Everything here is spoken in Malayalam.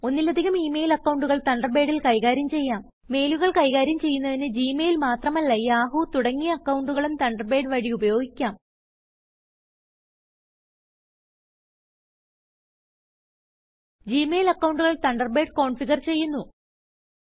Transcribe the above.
ഒന്നിലധികം ഇ മെയിൽ അക്കൌണ്ടുകൾ തണ്ടർബേഡിൽ കൈകാര്യം ചെയ്യാം മെയിലുകൾ കൈകാര്യം ചെയ്യുന്നതിന് ജിമെയിൽ മാത്രമല്ലയാഹൂ തുടങ്ങിയ അക്കൌണ്ടുകളും തണ്ടർബേഡ് വഴി ഉപയോഗിക്കാം ജി മെയിൽ അക്കൌണ്ടുകൾ തണ്ടർബേഡ് കോൻഫിഗർ ചെയ്യുന്നു